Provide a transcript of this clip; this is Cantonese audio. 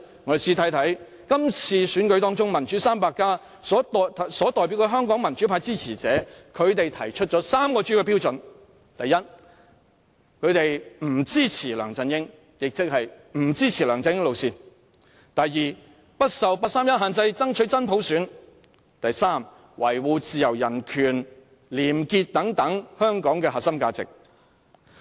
我們試看看今次選舉中，"民主 300+" 所代表的香港民主派支持者，他們提出了3個主要標準。第一，他們不支持梁振英，亦即不支持梁振英路線；第二，不受八三一限制，爭取真普選；第三，維護自由人權、廉潔等香港的核心價值。